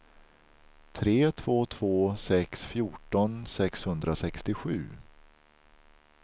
tre två två sex fjorton sexhundrasextiosju